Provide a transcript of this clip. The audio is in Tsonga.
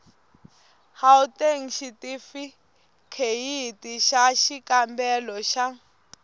gauteng xitifikheyiti xa xikambelo xa